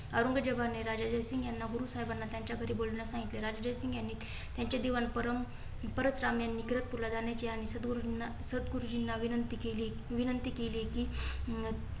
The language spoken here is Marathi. औरंजेबया ने राजा जयसिंग यांना गुरु साहेबांना त्यांच्या घरी बोलवन्यास सांगितले. राजा जयसिंग यांनी त्यांचे दिवाण परम परसराम कीरतपूरला जाण्याची विनंती केली विंनती केली. कि